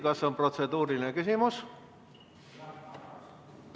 Kas on protseduuriline küsimus?